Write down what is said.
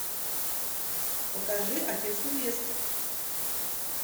покажи отец невесты